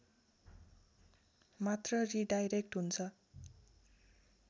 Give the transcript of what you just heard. मात्र रिडाइरेक्ट हुन्छ